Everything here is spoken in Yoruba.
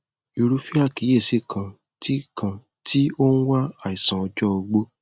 irúfẹ àkíyèsí kan tí kan tí ó ń wá àìsàn ọjọ ogbó